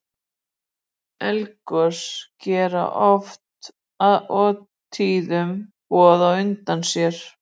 Eldgos gera oft og tíðum boð á undan sér.